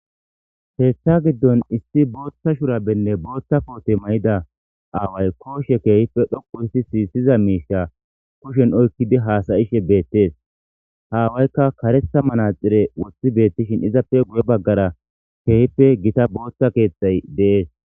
Keetha giddon issi booththa shurabenne booththa koote may7ida aaway kooshe keehife dhoqu hissi siissiza miisha kushen oykkidi haasayishe beettees. Haawaykka karetha manaxire woththi beettishin izappe guye baggara keehipe gita booththa keeththay deees.